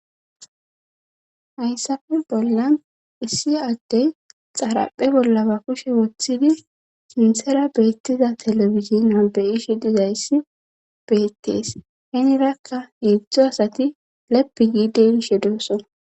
hayssafe bollan issi addey xaraphe bollaba kushe woththidi sinthera beettiza telebizina beyishi dizayssi beettees henirakka yiedzdzo asati lepi giidenshe dooso